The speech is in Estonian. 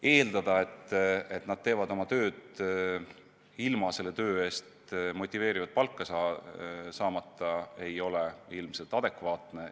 Eeldada, et nad teevad oma tööd ilma selle eest motiveerivat palka saamata, ei ole ilmselt adekvaatne.